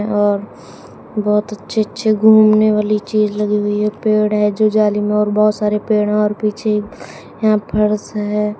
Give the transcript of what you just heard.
बहुत अच्छे अच्छे घूमने वाली चीज लगी हुई है पेड़ है जो जाली में और बहुत सारे पेड़ और पीछे यहां फर्स है।